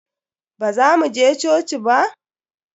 Baza mu je coci ba?